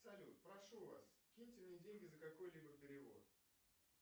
салют прошу вас киньте мне деньги за какой либо перевод